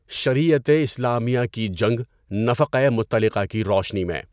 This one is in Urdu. شریعت اسلامیہ کی جنگ نفقۂ مطلقہ کی روشنی میں